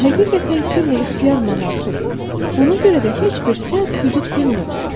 O həqiqətən küllü-ixtiyar monarx idi, ona görə də heç bir sədd-hüdud bilmirdi.